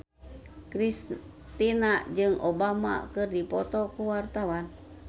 Kristina jeung Obama keur dipoto ku wartawan